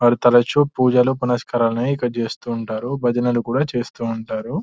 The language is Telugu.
వారు తరచూ పూజలు పునస్కారాలు అనేటివి ఇక్కడ చేస్తూ ఉంటారు భజనలు కూడా చేస్తూ ఉంటారు --